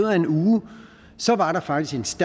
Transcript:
af en uge var der faktisk